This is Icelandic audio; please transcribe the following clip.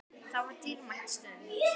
Það var dýrmæt stund.